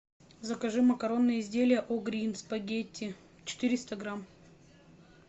закажи макаронные изделия о грин спагетти четыреста грамм